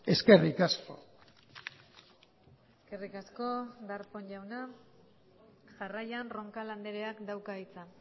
eskerrik asko eskerrik asko darpón jauna jarraian roncal andreak dauka hitza